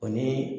O ni